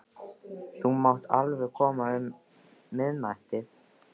Þú mátt alveg koma um miðnættið.